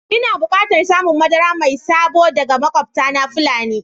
Ina bukatan samun madara mai sabo daga makwabtana Fulan